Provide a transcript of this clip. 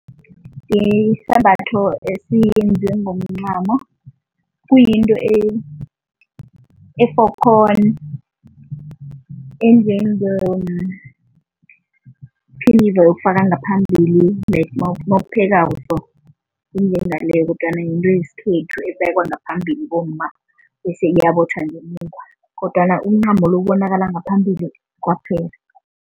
Isambatho esiyenziwe ngomncamo, kuyinto efokhoni, enjengephinifa yokufaka ngaphambili like mawuphekako enjengaleyo kodwana yinto yesikhethu ebekwa ngaphambili bomma bese iyabotjhwa ngemuva kodwana umncamo lo ubonakala ngaphambili kwaphela.